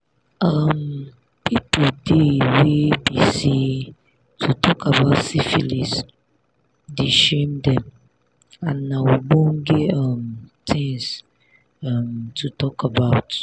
um people dey were be say to talk about syphilis the shame them and na ogbonge um things um to talk about